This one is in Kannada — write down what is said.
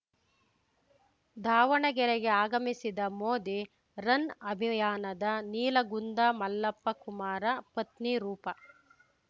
ದಾವಣಗೆರೆಗೆ ಆಗಮಿಸಿದ ಮೋದಿ ರನ್‌ಅಭಿಯಾನದ ನೀಲಗುಂದ ಮಲ್ಲಪ್ಪ ಕುಮಾರ ಪತ್ನಿ ರೂಪಾ